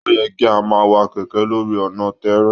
O yẹ kí a máa wá kẹkẹ lórí ọna tẹẹrẹ